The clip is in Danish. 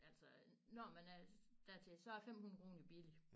Altså når man er dertil så er 500 kroner jo billig